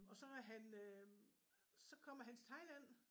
Og så er han øh så kommer han til Thailand